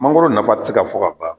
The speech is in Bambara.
Mangoro nafa ti se ka fɔ ka ban.